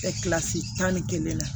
kilasi tan ni kelen na